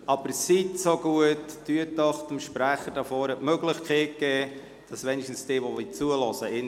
Aber bitte geben Sie dem Sprecher die Möglichkeit, sich wenigstens an jene richten zu können, die ihm zuhören wollen.